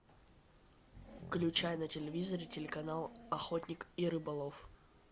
включай на телевизоре телеканал охотник и рыболов